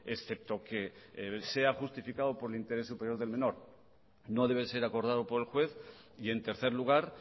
excepto que sea justificado por el interés superior del menor no debe ser acordado por el juez y en tercer lugar